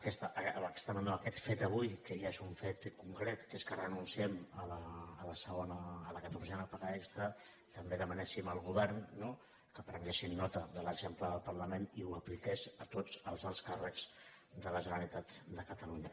aquesta demanda no aquest fet avui que ja és un fet concret que és que renunciem a la catorzena paga extra també demanéssim al govern no que prenguessin nota de l’exemple del parlament i que ho apliqués a tots els alts càrrecs de la generalitat de catalunya